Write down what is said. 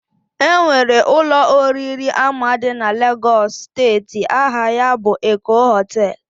Enwere Ụlọ oriri ama di na Lagos steeti, aha ya bụ Eko Hotel